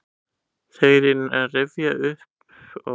Þegar ég reyni að rifja hann upp sé ég bara fyrir mér svarta klessu.